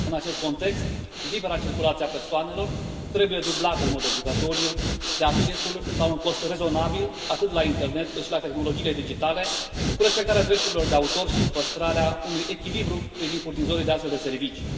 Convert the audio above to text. În acest context, libera circulație a persoanelor trebuie dublată în mod obligatoriu de accesul la un cost rezonabil, atât la internet, cât și la tehnologiile digitale cu respectarea drepturilor de autor și cu păstrarea unui echilibru privind furnizorii de astfel de servicii.